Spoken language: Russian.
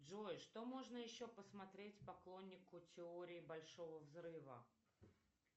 джой что можно еще посмотреть поклоннику теории большого взрыва